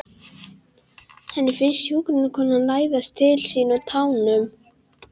Henni finnst hjúkrunarkonan læðast til sín á tánum.